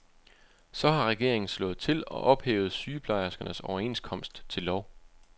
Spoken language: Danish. Så har regeringen slået til og ophævet sygeplejerskernes overenskomst til lov.